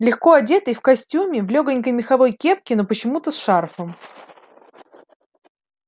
легко одетый в костюме в лёгонькой меховой кепке но почему-то с шарфом